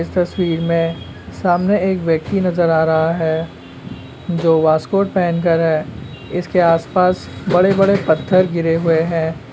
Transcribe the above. इस तस्वीर में सामने एक व्यक्ति नजर आ रहा है। जो वास्कोट पहनकर है इसके आसपास बड़े-बड़े पत्थर गिरे हुए है।